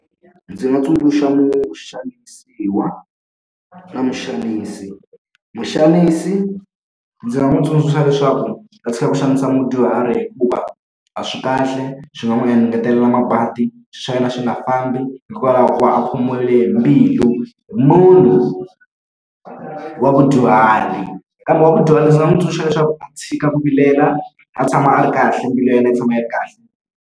Ndzi nga tsundzuxa muxanisiwa na muxanisi. Muxanisi ndzi nga n'wi tsundzuxa leswaku a tshika ku xanisa mudyuhari hikuva a swi kahle, swi nga n'wi engetelela mabadi, swilo swa yena swi nga fambi hikwalaho ka ku va a khomiwile hi mbilu hi munhu wa mudyuhari. Kambe wa mudyuhari ndzi nga n'wi tsundzuxa leswaku a tshika ku vilela, a tshama a ri kahle mbilu ya yena yi tshama yi ri kahle.